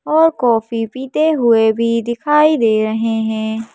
और कॉफी पीते हुए भी दिखाई दे रहे हैं।